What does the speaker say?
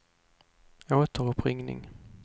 återuppringning